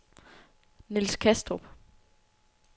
Niels Kastrup